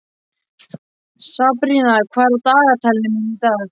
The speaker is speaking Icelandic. Sabrína, hvað er í dagatalinu mínu í dag?